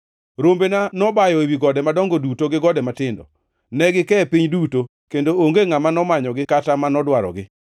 Rombena nobayo ewi gode madongo duto gi gode matindo. Ne gike e piny duto, kendo onge ngʼama nomanyogi kata manodwarogi.